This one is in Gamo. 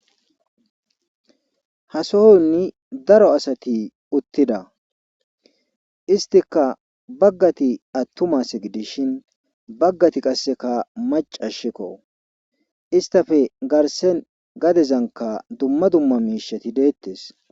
hasoni daro asati uttida istikka baggati attuma ase gidishin baggati qasseka maccashekko istape garssen gadezankka dumma dumma miishati deettes.